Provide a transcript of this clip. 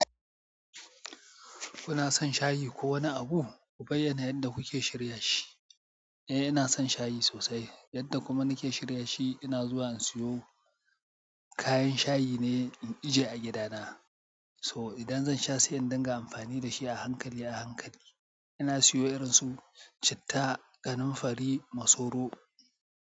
Kuna son shayi ko wani abu? Ku bayyana yadda kuke shirya shi. Eh, inason shayi sosai. Yadda kuma nake shirya shi, ina zuwa in siyo kayan shayi ne in ije a gida na. To idan zan sha sai in dinga amfani da shi a hankali, a hankali. Ina siyo irin su citta, kananfari, masoro.